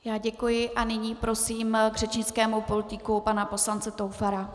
Já děkuji a nyní prosím k řečnickému pultíku pana poslance Toufara.